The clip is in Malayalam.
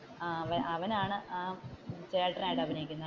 അവൻഅവനാണ് ചേട്ടനായിട്ട് അഭിനയിക്കുന്നത്.